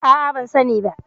A'a, bani da ita.